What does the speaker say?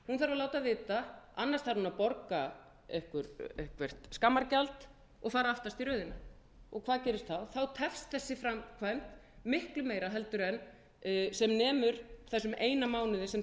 láta vita annars þarf hún að borga eitthvert skammargjald og fara aftast í röðina og hvað gerist þá þá tefst þessi framkvæmd miklu meira heldur sem nemur þessum eina mánuði sem talað er um að hún